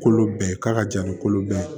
Kolo bɛɛ k'a ka jan ni kolo bɛɛ ye